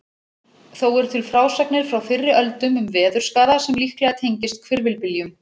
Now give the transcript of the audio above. Þó eru til frásagnir frá fyrri öldum um veðurskaða sem líklega tengist hvirfilbyljum.